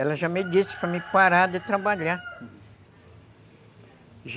Ela já me disse para mim parar de trabalhar.